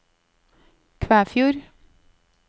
Kvæfjord